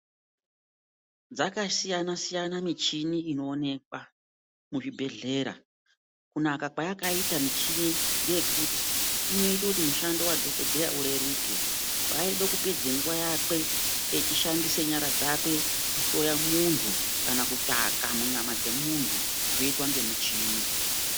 Dzakasiyana siyana michini inoonekwa muzvibhedhlera. Kunaka kwayakaita michini ngeyekuti inoite kuti mushando wadhokodheya ureruke. Paaide kupedza nguwa yakwe echishandise nyara dzakwe kuhloya munhtu kana kutsvaka munyama dzemuntu, zvinoitwa ngemuchini.